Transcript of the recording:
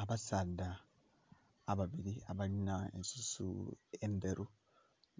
Abasaadha ababili abalinha ensusu endheru